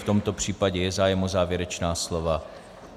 V tomto případě je zájem o závěrečná slova?